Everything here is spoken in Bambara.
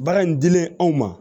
Baara in dilen anw ma